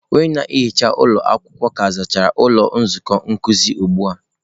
Onye na-ehicha ụlọ akwụkwọ ka zachara ụlọ nzukọ nkuzi ụgbụ a.